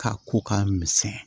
K'a ko k'a misɛnya